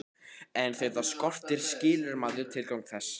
En þegar það skortir skilur maður tilgang þess.